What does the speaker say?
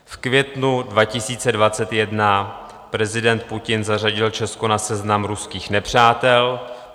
V květnu 2021 prezident Putin zařadil Česko na seznam ruských nepřátel.